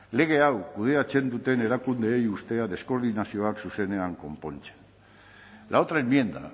lege hau kudeatzen duten erakundeei deskoordinazioak zuzenean konpontzen la otra enmienda